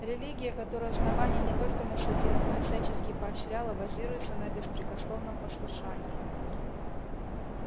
религия которую основание не только насадило но и всячески поощряло базируется на беспрекословном послушании